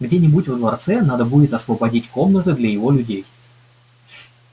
где-нибудь во дворце надо будет освободить комнаты для его людей